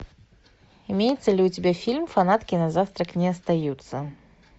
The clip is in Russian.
имеется ли у тебя фильм фанатки на завтрак не остаются